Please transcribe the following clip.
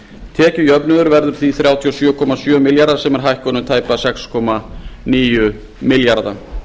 tekjujöfnuður verður um þrjátíu og sjö komma sjö milljarðar króna sem er hækkun um tæpa sex komma níu milljarða